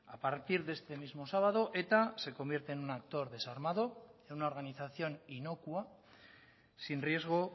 a partir de este mismo sábado eta se convierte en un actor desarmado y una organización inocua sin riesgo